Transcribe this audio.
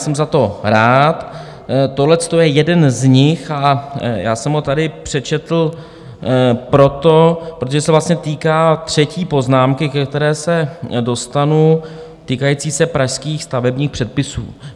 Jsem za to rád, tohleto je jeden z nich a já jsem ho tady přečetl proto, protože se vlastně týká třetí poznámky, ke které se dostanu, týkající se pražských stavebních předpisů.